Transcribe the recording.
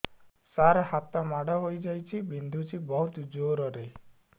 ସାର ହାତ ମାଡ଼ ହେଇଯାଇଛି ବିନ୍ଧୁଛି ବହୁତ ଜୋରରେ